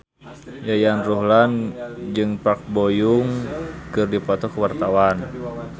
Yayan Ruhlan jeung Park Bo Yung keur dipoto ku wartawan